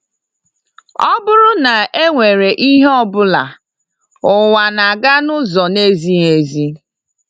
Ọ bụrụ na e nwere ihe ọ bụla, ụwa na-aga n’ụzọ na-ezighị ezi.